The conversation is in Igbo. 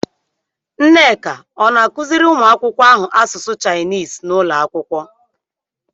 Nneka ọ̀ na-akụziri ụmụ akwụkwọ ahụ asụsụ Shainis n'ụlọ akwụkwọ?